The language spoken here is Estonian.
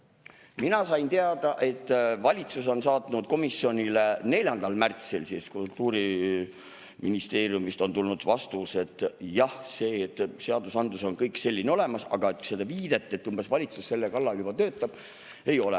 Mina sain teada, et valitsus on saatnud komisjonile, 4. märtsil on Kultuuriministeeriumist tulnud vastus, et jah, seadusandlus on kõik olemas, aga seda viidet, et valitsus selle kallal juba töötab, ei ole.